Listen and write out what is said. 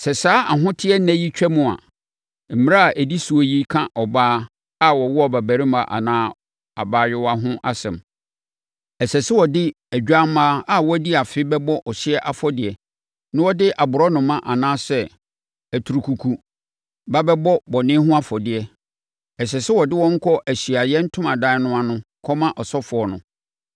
“Sɛ saa ahoteɛ nna yi twam a (mmara a ɛdi so yi ka ɔbaa a wawo abarimaa anaa abaayewa ho asɛm), ɛsɛ sɛ ɔde odwammaa a wadi afe bɛbɔ ɔhyeɛ afɔdeɛ na ɔde aborɔnoma anaa aturukuku ba bɛbɔ bɔne ho afɔdeɛ. Ɛsɛ sɛ ɔde wɔn kɔ Ahyiaeɛ Ntomadan no ano kɔma ɔsɔfoɔ no,